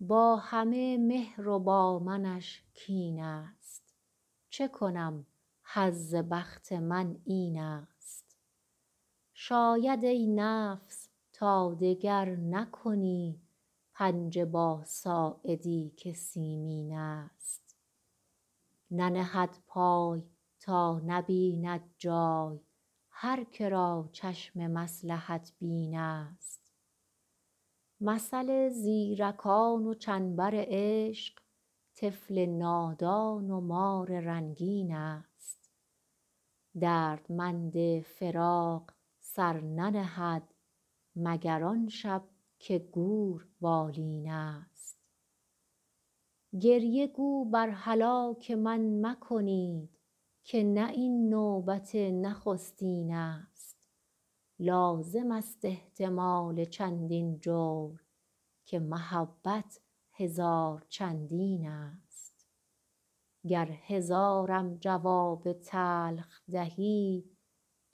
با همه مهر و با منش کین ست چه کنم حظ بخت من این ست شاید ای نفس تا دگر نکنی پنجه با ساعدی که سیمین ست ننهد پای تا نبیند جای هر که را چشم مصلحت بین ست مثل زیرکان و چنبر عشق طفل نادان و مار رنگین ست دردمند فراق سر ننهد مگر آن شب که گور بالین ست گریه گو بر هلاک من مکنید که نه این نوبت نخستین ست لازم است احتمال چندین جور که محبت هزار چندین ست گر هزارم جواب تلخ دهی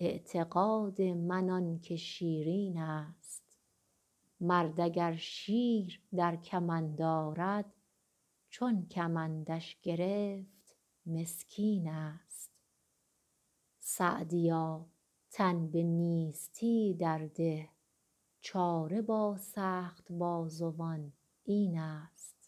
اعتقاد من آن که شیرین ست مرد اگر شیر در کمند آرد چون کمندش گرفت مسکین ست سعدیا تن به نیستی در ده چاره با سخت بازوان این ست